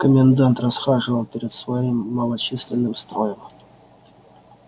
комендант расхаживал перед своим малочисленным строем